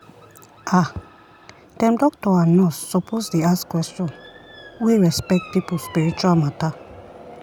ah dem doctor and nurse suppose dey ask question wey respect people spiritual matter.